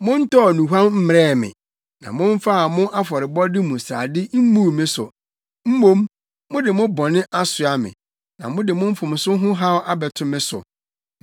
Montɔɔ nnuhuam mmrɛɛ me, na mommaa mo afɔrebɔde mu srade mmuu me so. Mmom, mode mo bɔne asoa me na mode mo mfomso ho haw abɛto me so.